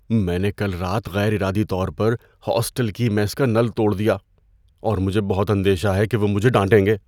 میں نے کل رات غیر ارادی طور پر ہاسٹل کی میس کا نل توڑ دیا اور مجھے بہت اندیشہ ہے کہ وہ مجھے ڈانٹیں گے۔